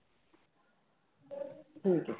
ਠੀਕ ਹੈ।